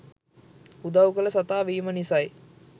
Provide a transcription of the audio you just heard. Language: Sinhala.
උදවු කල සතා වීම නිසයි.